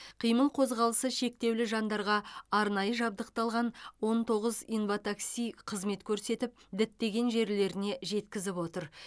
қимыл қозғалысы шектеулі жандарға арнайы жабдықталған он тоғыз инватакси қызмет көрсетіп діттеген жерлеріне жеткізіп отыр